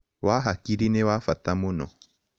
Wa hakĩrĩ nĩ wa fata mũno